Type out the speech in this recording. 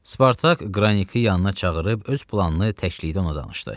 Spartak Qraniki yanına çağırıb öz planını təklikdə ona danışdı.